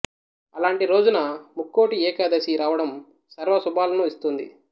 అలాంటి రోజున ముక్కోటి ఏకాదశి రావడం సర్వ శుభాలను ఇస్తుంది